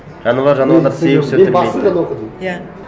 жануар жануарлар басынан оқыдым иә